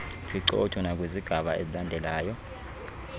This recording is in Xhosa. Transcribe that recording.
phicotho nakwizigaba ezilandelayo